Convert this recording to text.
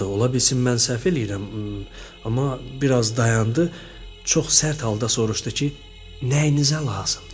Ola bilsin mən səhv eləyirəm, amma biraz dayandı, çox sərt halda soruşdu ki, nəyinizə lazımdır?